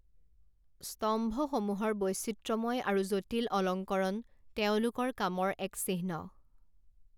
স্তম্ভসমূহৰ বৈচিত্ৰ্যময় আৰু জটিল অলঙ্কৰণ তেওঁলোকৰ কামৰ এক চিহ্ন।